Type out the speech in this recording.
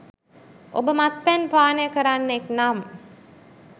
ඔබ මත්පැන් පානය කරන්නෙක් නම්